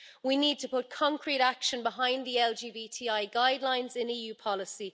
We need to put concrete action behind the LGBTI guidelines in EU policy.